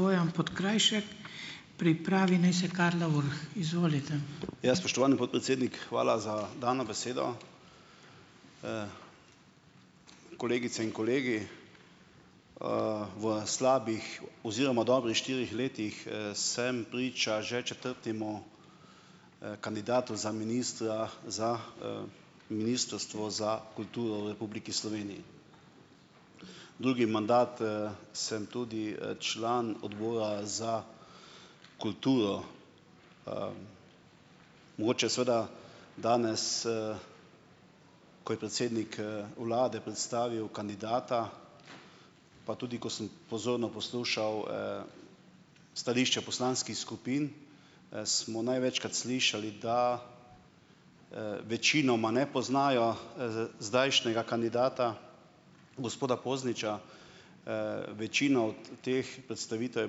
Ja, spoštovani podpredsednik, hvala za dano besedo. Kolegice in kolegi! V slabih oziroma dobrih štirih letih sem priča že četrtemu kandidatu za ministra za Ministrstvo za kulturo v Republiki Sloveniji. Drugi mandat sem tudi član Odbora za kulturo. Mogoče seveda danes, ko je predsednik vlade predstavil kandidata, pa tudi ko sem pozorno poslušal stališče poslanskih skupin, smo največkrat slišali, da večinoma ne poznajo zdajšnjega kandidata, gospoda Pozniča. večina od teh predstavitev je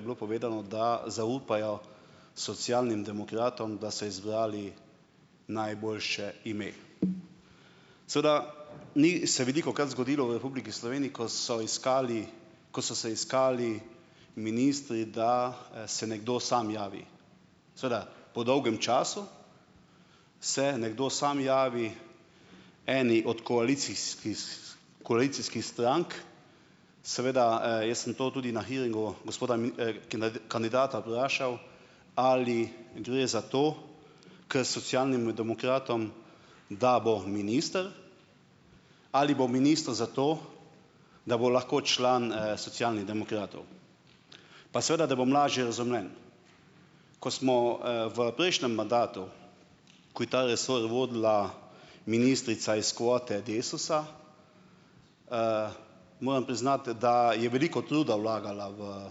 bilo povedano, da zaupajo Socialnim demokratom, da so izbrali najboljše ime. Seveda, ni se velikokrat zgodilo v Republiki Sloveniji, ko so iskali, ko so se iskali ministri, da se nekdo sam javi. Seveda po dolgem času se nekdo sam javi eni od koalicijskih strank, seveda jaz sem to tudi na hearingu gospoda kandidata vprašal, ali gre za to k Socialnim demokratom, da bo minister, ali bo minister zato, da bo lahko član Socialnih demokratov. Pa seveda, da bom lažje razumljen. Ko smo v prejšnjem mandatu, ko je ta resor vodila ministrica iz kvote Desusa, moram priznati, da je veliko truda vlagala v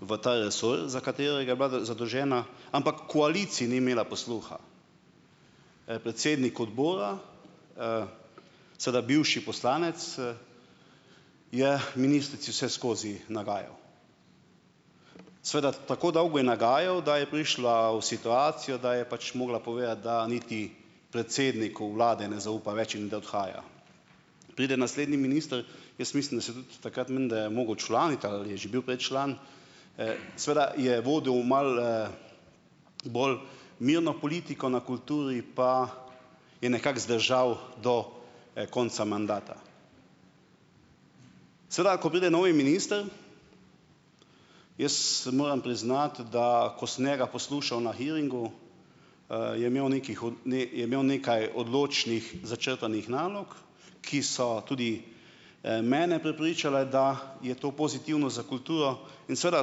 v ta resor, za katerega je bila zadolžena, ampak koaliciji ni imela posluha. Predsednik odbora, seveda bivši poslanec, je ministrici vseskozi nagajal. Seveda tako dolgo je nagajal, da je prišla v situacijo, da je pač mogla povedati, da niti predsedniku vlade ne zaupa več in da odhaja. Pride naslednji minister, jaz mislim, da se je tudi takrat menda mogel včlaniti ali je že bil prej član, seveda je vodil malo bolj mirno politiko na kulturi, pa je nekako zdržal do konca mandata. Seveda, ko pride novi minister, jaz moram priznati, da ko sem njega poslušal hearingu, je imel je imel nekaj odločnih začrtanih nalog, ki so tudi mene prepričale, da je to pozitivno za kulturo, in seveda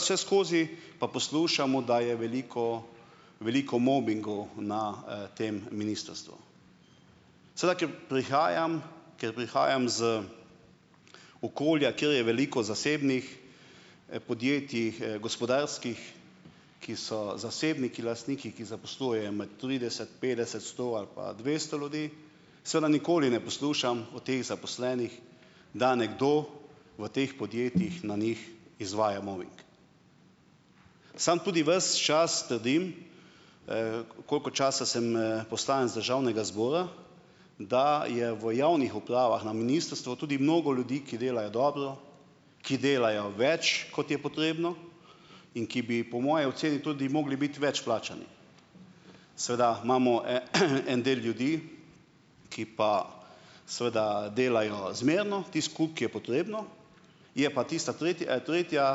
vseskozi pa poslušamo, da je veliko veliko mobingov na tem ministrstvu. Seveda, ker prihajam, ker prihajam z okolja, kjer je veliko zasebnih podjetij, gospodarskih, ki so zasebniki, lastniki, ki zaposluje med trideset, petdeset, sto ali pa dvesto ljudi, seveda nikoli ne poslušam o teh zaposlenih, da nekdo v teh podjetjih na njih izvaja mobing. Samo tudi ves čas trdim, koliko časa sem poslanec Državnega zbora, da je v javnih upravah na ministrstvu tudi mnogo ljudi, ki delajo dobro, ki delajo več, kot je potrebno, in ki bi po moji oceni tudi mogli biti več plačani. Seveda, imamo en de ljudi, ki pa seveda delajo zmerno, tisti kup, ki je potrebno, je pa tista tretja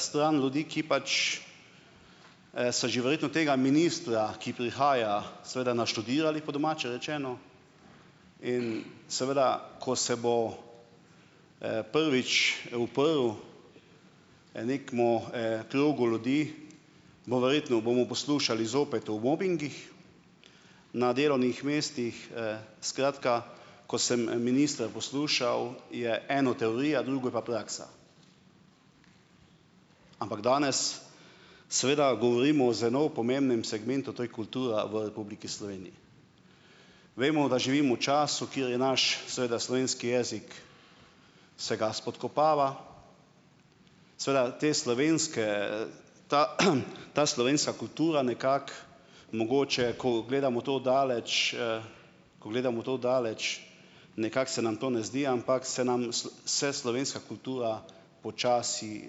stran ljudi, ki pač so že verjetno tega ministra, ki prihaja, seveda naštudirali, po domače rečeno, in seveda, ko se bo prvič uprl nekemu krogu ljudi, bo verjetno, bomo poslušali zopet o mobingih, na delovnih mestih. Skratka, ko sem ministra poslušal, je eno teorija, drugo pa praksa. Ampak danes seveda govorimo o zelo pomembnem segmentu, to je kultura v Republiki Sloveniji. Vemo, da živimo v času, kjer je naš, seveda, slovenski jezik se ga spodkopava. Seveda te slovenske, ta slovenska kultura nekako mogoče, ko gledamo to od daleč, ko gledamo to od daleč, nekako se nam to ne zdi, ampak se nam se slovenska kultura počasi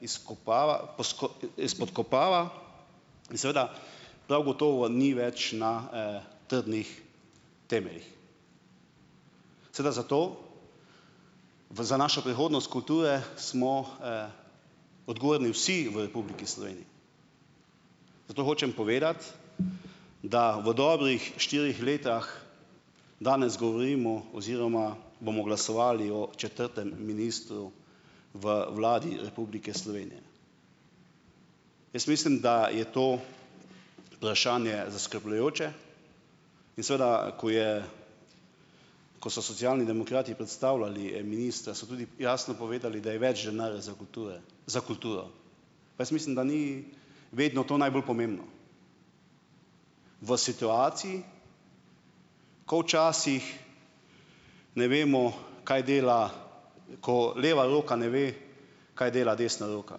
izkopava izpodkopava, in seveda, prav gotovo ni več na trdnih temeljih. Seveda zato, v za našo prihodnost kulture smo odgovorni vsi v Republiki Sloveniji. Zato hočem povedati, da v dobrih štirih letih danes govorimo oziroma bomo glasovali o četrtem ministru v Vladi Republike Slovenije. Jaz mislim, da je to vprašanje zaskrbljujoče in seveda, ko je, ko so Socialni demokrati predstavljali ministra, so tudi jasno povedali, da je več denarja za kulture, za kulturo, mislim, da ni vedno to najbolj pomembno. V situaciji, ko včasih ne vemo, kaj dela, ko leva roka ne ve, kaj dela desna roka.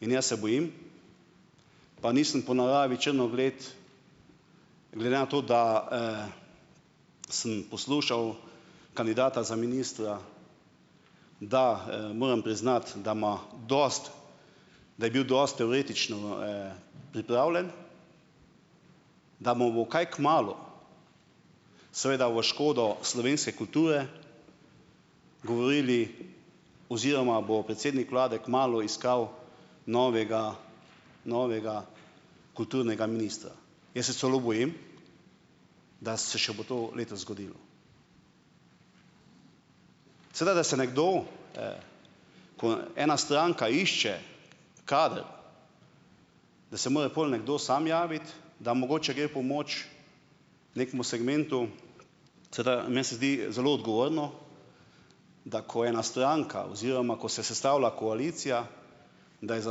In jaz se bojim, pa nisem po naravi črnogled, glede na to, da sem poslušal kandidata za ministra, da moram priznati, da ima dosti, da je bil dosti teoretično pripravljen, da mu bo kaj kmalu, seveda v škodo slovenske kulture, govorili oziroma bo predsednik vlade kmalu iskal novega, novega kulturnega ministra. Jaz se celo bojim, da se še bo to letos zgodilo. Seveda da se nekdo, ko ena stranka išče kader, da se mora pol nekdo samo javiti, da mogoče gre pomoč nekemu segmentu, meni se zdi zelo odgovorno, da ko ena stranka oziroma ko se sestavlja koalicija, da je za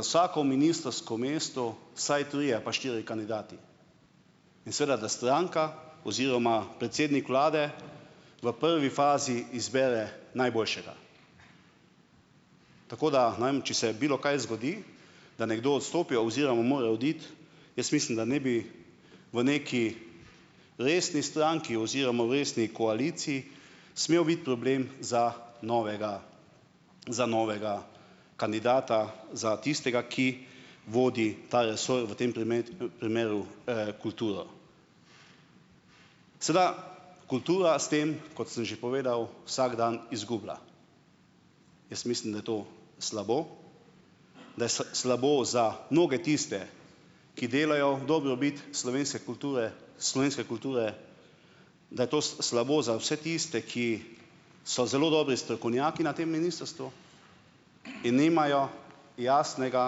vsako ministrsko mesto vsaj trije ali pa štirje kandidati. In seveda da stranka oziroma predsednik vlade v prvi fazi izbere najboljšega. Tako da, nam, če se bilokaj zgodi, da nekdo odstopi oziroma mora oditi, jaz mislim, da ne bi v neki resni stranki oziroma resni koaliciji smel biti problem za novega za novega kandidata, za tistega, ki vodi ta resor, v tem primeru kulturo. Sedaj, kultura s tem, kot sem že povedal, vsak dan izgublja. Jaz mislim, da je to slabo, da je slabo za mnoge tiste, ki delajo v dobrobit slovenske kulture, slovenske kulture, da je to slabo za vse tiste, ki so zelo dobri strokovnjaki na tem ministrstvu in nimajo jasnega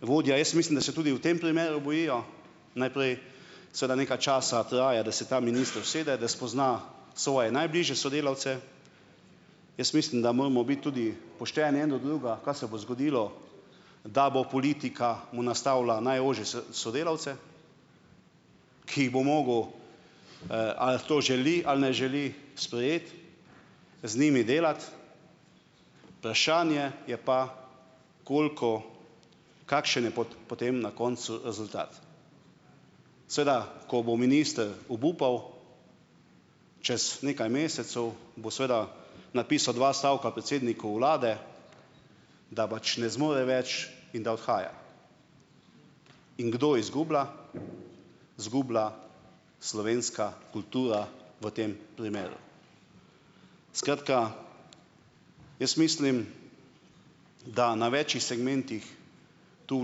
vodja. Jaz mislim, da se tudi v tem primeru bojijo, najprej, seveda nekaj časa traja, da se ta minister usede, da spozna svoje najbližje sodelavce. Jaz mislim, da moramo biti tudi pošteni en do drugega, kaj se bo zgodilo, da bo politika mu nastavila najožje sodelavce, ki bo mogel, ali to želi ali ne želi sprejeti, z njimi delati, vprašanje je pa, koliko, kakšen je potem na koncu rezultat. Seveda, ko bo minister obupal, čez nekaj mesecev, bo seveda napisal dva stavka predsedniku vlade, da pač ne zmore več in da odhaja. In kdo izgublja? Izgubila slovenska kultura v tem primeru. Skratka, jaz mislim, da na več segmentih tu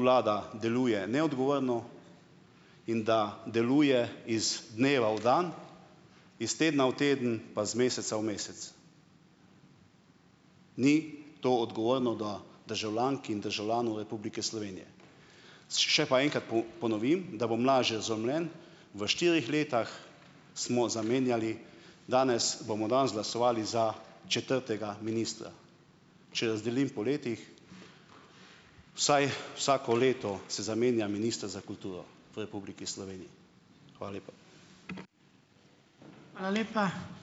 vlada deluje neodgovorno, in da deluje iz dneva v dan, iz tedna v teden pa z meseca v mesec. Ni to odgovorno do državljank in državljanov Republike Slovenije. Še pa enkrat ponovim, da bom lažje razumljen; v štirih letih smo zamenjali, danes bomo danes glasovali za četrtega ministra. Če razdelim po letih, vsaj vsako leto se zamenja minister za kulturo v Republiki Sloveniji. Hvala lepa.